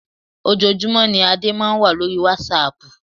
Ojoojúmọ́ ní Adé máa ń wà lórí wásaàpù.